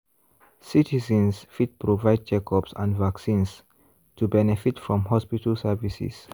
citizens fit provide checkups and vaccines to benefit from hospital services.